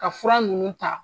Ka fura ninnu ta